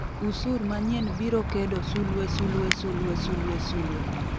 usur manyien biro kedo *****